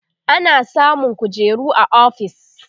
ana samun kujeru a ofis